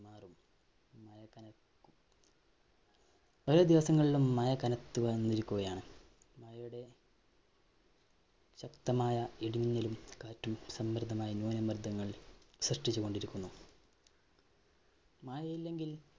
വരും ദിവസങ്ങളിലും മഴ കനത്തു വന്നിരിക്കുകയാണ്. മഴയുടെ ശക്തമായ ഇടിമിന്നലും കാറ്റും സമ്മര്‍ദ്ദമായി ന്യൂനമര്‍ദ്ദങ്ങള്‍ സൃഷ്ട്ടിച്ചു കൊണ്ടിരിക്കുന്നു. മഴയില്ലെങ്കില്‍